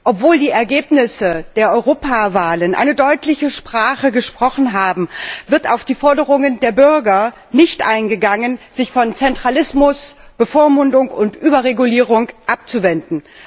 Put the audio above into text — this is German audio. Obwohl die Ergebnisse der Europawahlen eine deutliche Sprache gesprochen haben, wird auf die Forderungen der Bürger nicht eingegangen, sich von Zentralismus, Bevormundung und Überregulierung abzuwenden.